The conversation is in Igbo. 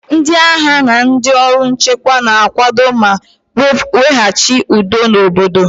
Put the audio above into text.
Ndị agha na ndị ọrụ nchekwa na-akwado ma weghachi udo n'obodo